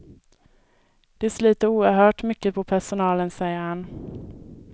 Det sliter oerhört mycket på personalen, säger han.